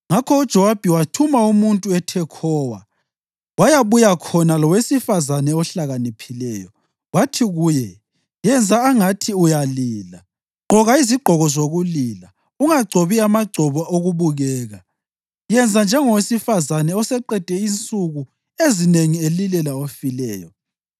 Ngakho uJowabi wathuma umuntu eThekhowa wayabuya khona lowesifazane ohlakaniphileyo. Wathi kuye, “Yenza angathi uyalila. Gqoka izigqoko zokulila. Ungagcobi amagcobo okubukeka. Yenza njengowesifazane oseqede insuku ezinengi elilela ofileyo.